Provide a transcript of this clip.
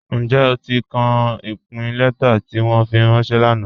Njẹ́ o ti ka ipin lẹ̀tà ti wọn fi ranṣẹ̀ lánà?